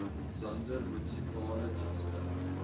zader munisipale dienste